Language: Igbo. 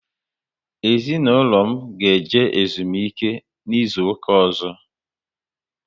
Ezinaụlọ m ga eje ezumike n' izuka ozo